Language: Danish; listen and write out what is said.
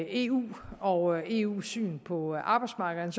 eu og eus syn på arbejdsmarkederne